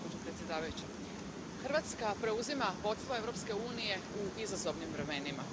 Poštovana predsjedavajuća, Hrvatska preuzima vodstvo Europske unije u izazovnim vremenima.